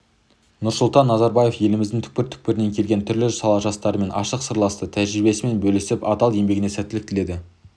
нұрсұлтан назарбаев еліміздің түкпір-түкпірінен келген түрлі сала жастарымен ашық сырласты тәжіребиесімен бөілісіп адал еңбегіне сәттілік тіледі